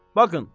Baxın.